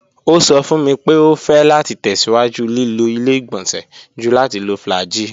O sọ fun mi pe o fẹ lati tẹsiwaju lilo ile-igbọnsẹ ju lati lo flagyl